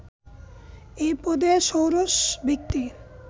এই পদে ষোড়শ ব্যক্তি